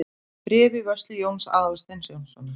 Bréf í vörslu Jóns Aðalsteins Jónssonar.